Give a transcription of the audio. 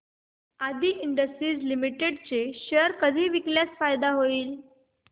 आदी industries limited चे share कधी विकल्यास फायदा होईल